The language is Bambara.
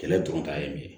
Kɛlɛ dɔrɔn ta ye min ye